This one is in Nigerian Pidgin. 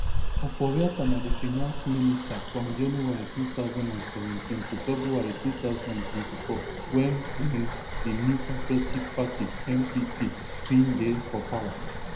offoriatta na di finance minister from january two thousand and seventeen to february two thousand and twenty-four wen wen di new patriotic party npp bin dey for power